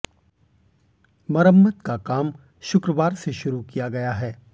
मरम्मत का काम शुक्रवार से शुरु किया गया है